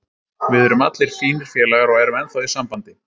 Við erum allir fínir félagar og erum ennþá í sambandi.